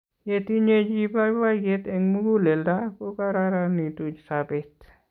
Yeitinye chi poipoiyet eng' muguleldo ko karoronitu sopet